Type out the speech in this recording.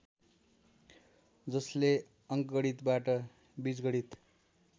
जसले अङ्कगणितबाट बिजगणित